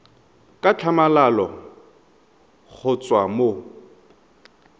ka tlhamalalo go tswa mo